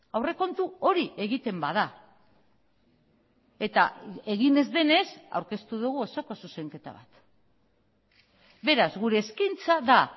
aurrekontu hori egiten bada eta egin ez denez aurkeztu dugu osoko zuzenketa bat beraz gure eskaintza da